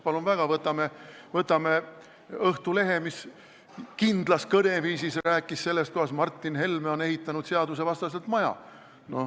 Palun väga, võtame Õhtulehe, mis kindlas kõneviisis rääkis sellest, kuidas Martin Helme on ehitanud seadusvastaselt maja.